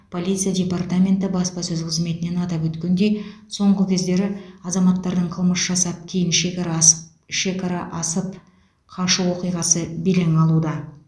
полиция департаменті баспасөз қызметінен атап өткендей соңғы кездері азаматтардың қылмыс жасап кейін шекара асп шекара асып қашу оқиғасы белең алуда